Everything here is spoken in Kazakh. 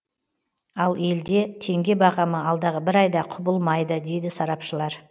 ал елде теңге бағамы алдағы бір айда құбылмайды дейді сарапшылар